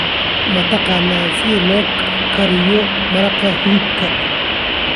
Ma taqaan sida loo kariyo maraqa hilibka?